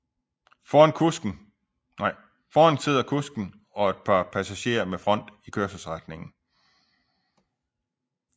Foran sidder kusken og et par pasagerer med front i kørselsretningen